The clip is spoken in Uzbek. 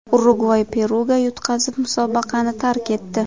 Urugvay Peruga yutqazib, musobaqani tark etdi .